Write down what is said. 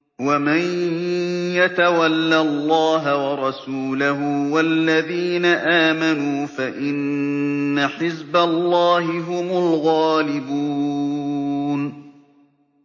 وَمَن يَتَوَلَّ اللَّهَ وَرَسُولَهُ وَالَّذِينَ آمَنُوا فَإِنَّ حِزْبَ اللَّهِ هُمُ الْغَالِبُونَ